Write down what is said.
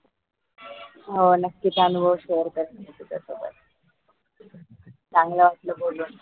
हो नक्कीच अनुभव share करीन मी तुझ्या सोबत चांगलं वाटलं बोलून